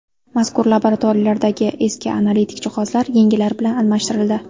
Mazkur laboratoriyalardagi eski analitik jihozlar yangilari bilan almashtirildi.